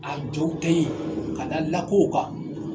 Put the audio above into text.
A jo tɛ yen ka da lakɔw kan